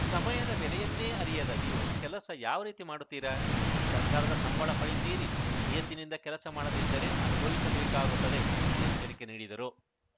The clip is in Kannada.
ಸಮಯದ ಬೆಲೆಯನ್ನೇ ಅರಿಯದ ನೀವು ಕೆಲಸ ಯಾವ ರೀತಿ ಮಾಡುತ್ತೀರಾ ಸರ್ಕಾರದ ಸಂಬಳ ಪಡೆಯುತ್ತೀರಿ ನಿಯತ್ತಿನಿಂದ ಕೆಲಸ ಮಾಡದಿದ್ದರೆ ಅನುಭವಿಸಬೇಕಾಗುತ್ತದೆ ಎಂದು ಎಚ್ಚರಿಕೆ ನೀಡಿದರು